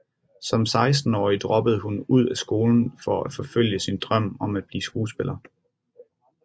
Som 16 årig droppede hun ud af skolen for at forfølge sin drøm om at blive skuespiller